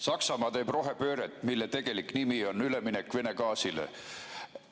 Saksamaa teeb rohepööret, mille tegelik nimi on üleminek Vene gaasile.